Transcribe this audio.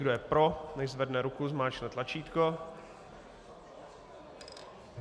Kdo je pro, nechť zvedne ruku, zmáčkne tlačítko.